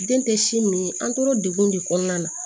Den tɛ si min an tora degun de kɔnɔna na